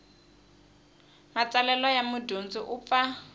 matsalelo ya mudyondzi u pfa